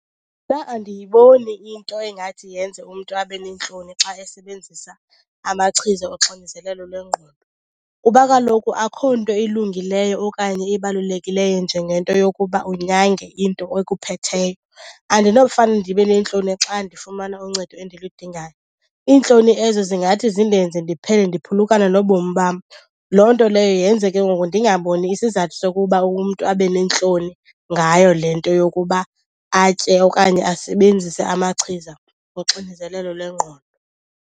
Mna andiyiboni into engathi yenze umntu abe neentloni xa esebenzisa amachiza oxinizelelo lwengqondo kuba kaloku akho nto ilungileyo okanye ibalulekileyo njengento yokuba unyange into ekuphetheyo. Andinofane ndibe neentloni xa ndifumana uncedo endiludingayo. Iintloni ezo zingathi zindenze ndiphele ndiphulukana nobomi bam. Loo nto leyo yenze ke ngoku ndingaboni isizathu sokuba umntu abe neentloni ngayo le nto yokuba atye okanye asebenzise amachiza woxinizelelo lwengqondo.